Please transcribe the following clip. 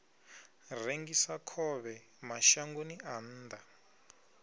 rengisa khovhe mashangoni a nnḓa